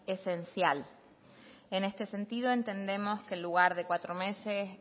esencial en este sentido entendemos que en lugar de cuatro meses